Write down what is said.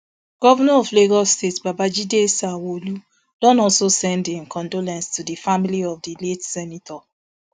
govnor of lagos state babajide sanwoolu don also send im condolence to di family of di late senator